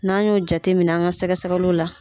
N'an y'o jateminɛ an ka sɛgɛ sɛgɛliw la.